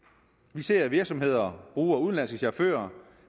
vi ser at virksomheder bruger udenlandske chauffører